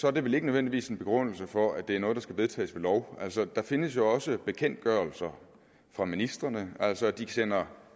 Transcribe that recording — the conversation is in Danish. er det vel ikke nødvendigvis en begrundelse for at det er noget der skal vedtages ved lov der findes jo også bekendtgørelser fra ministrene altså at de sender